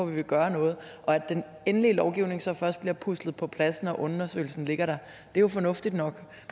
vi vil gøre noget og at den endelige lovgivning så først bliver puslet på plads når undersøgelsen ligger der er jo fornuftigt nok